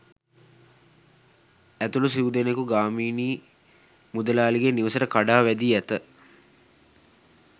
ඇතුළු සිව්දෙනකු ගාමිණී මුදලාලිගේ නිවසට කඩා වැදී ඇත.